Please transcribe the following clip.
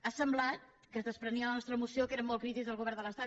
ha semblat que es desprenia de la nostra moció que érem molt crítics amb el govern de l’estat